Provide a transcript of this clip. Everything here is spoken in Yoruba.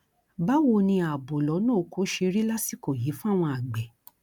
báwo ni ààbò lọnà ọkọ ṣe rí lásìkò yìí fáwọn àgbẹ